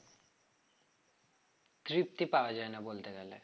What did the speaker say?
তৃপ্তি পাওয়া যায়না বলতে গেলে